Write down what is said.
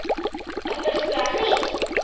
Er fyrsti apríl?